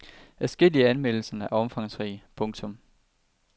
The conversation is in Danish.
Adskillige af anmeldelserne er omfangsrige. punktum